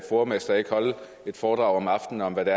fodermester ikke holde et foredrag om aftenen om hvad det